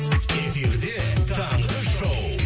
эфирде таңғы шоу